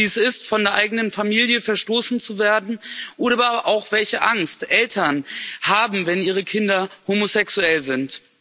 Wie es ist, von der eigenen Familie verstoßen zu werden, oder aber auch, welche Angst Eltern haben, wenn ihre Kinder homosexuell sind.